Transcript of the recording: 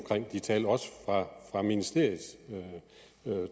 de tal også ministeriets